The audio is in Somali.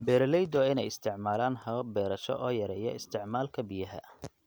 Beeraleyda waa in ay isticmaalaan habab beerasho oo yareeya isticmaalka biyaha.